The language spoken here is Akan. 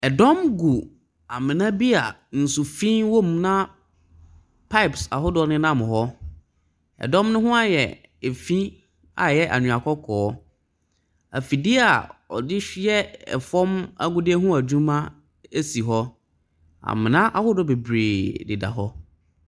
Ɛdɔm gu amena bi a nsufi wɔ mu na pipes ahodoɔ nenam hɔ. Ɛdɔm no ho ayɛ fi a ɛyɛ anwea kɔkɔɔ. Afidie a wɔde hw . Yɛ fa agudeɛ ho adwuma si hɔ. Amena ahodoɔ bebree deda hɔ.